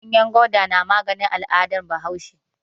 Ganyen gwanda na magani a al'adar Bahaushe.